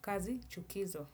kazi chukizo.